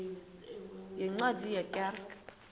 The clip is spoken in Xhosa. yeencwadi ye kerk